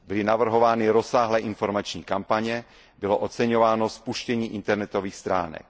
Byly navrhovány rozsáhlé informační kampaně, bylo oceňováno spuštění internetových stránek.